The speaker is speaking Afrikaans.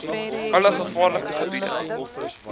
alle gevaarlike gebiede